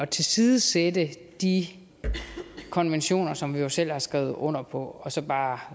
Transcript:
tilsidesætte de konventioner som vi jo selv har skrevet under på og så bare